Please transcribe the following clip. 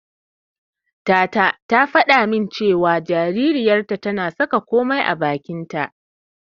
Tata ta faɗa min cewa jaririyarta tana saka komai a bakinta.